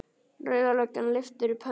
Rauða löggan lyftir upp hönd.